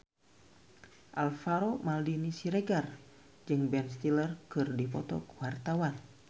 Alvaro Maldini Siregar jeung Ben Stiller keur dipoto ku wartawan